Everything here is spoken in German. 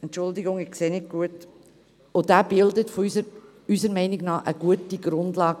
Dieser bildet eine gute Grundlage.